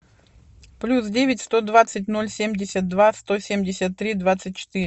плюс девять сто двадцать ноль семьдесят два сто семьдесят три двадцать четыре